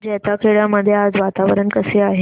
जैताखेडा मध्ये आज वातावरण कसे आहे